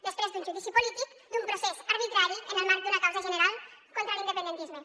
després d’un judici polític d’un procés arbitrari en el marc d’una causa general contra l’independentisme